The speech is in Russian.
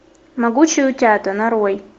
могучие утята нарой